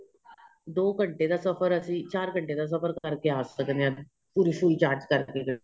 ਦੋ ਘੰਟੇ ਸਫ਼ਰ ਅਸੀਂ ਚਾਰ ਘੰਟੇ ਦਾ ਸਫ਼ਰ ਕਰਕੇ ਆਂ ਸਕਦੇ ਹਾਂ ਪੂਰੀ ਸੂਈ charge ਕਰਕੇ